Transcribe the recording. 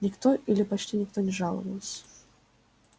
никто или почти никто не жаловался